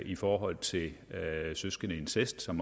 i forhold til søskendeincest som